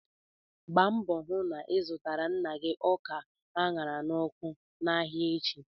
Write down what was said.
Gbaa mbọ hụ na ị zụtara nna gị ọka a ṅara n'ọkụ n'ahịa echi!